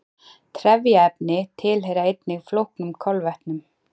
Trefjaefni tilheyra einnig flóknum kolvetnum.